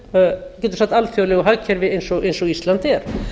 við getum sagt alþjóðlegu hagkerfi eins og ísland er